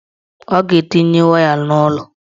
Ọ ga-etinye waya n'ụlọ